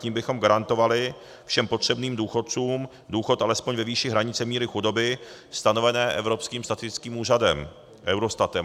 Tím bychom garantovali všem potřebným důchodcům důchod alespoň ve výši hranice míry chudoby stanovené Evropským statistickým úřadem, Eurostatem.